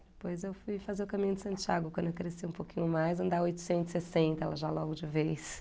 Depois eu fui fazer o caminho de Santiago, quando eu cresci um pouquinho mais, andar oitocentos e sessenta lá já logo de vez.